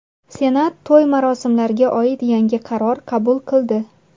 Senat to‘y-marosimlarga oid yangi qaror qabul qildi.